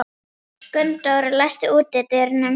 Gunndóra, læstu útidyrunum.